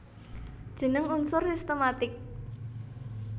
Jeneng unsur sistematik